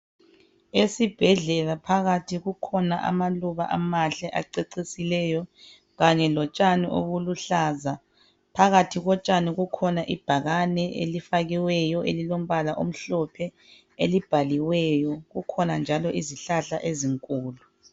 Esibhedlela phakathi kukhona amaluba amahle acecisileyo kanye lotshani obuluhlaza. Phakathi kotshani kukhona ibhakani elifakiwryo elilombala omhlophe elibhaliweyo. Kukhona njalo izihlahla ezinkulu.